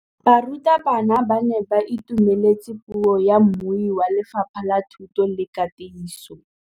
Barutabana ba ne ba itumeletse puô ya mmui wa Lefapha la Thuto le Katiso.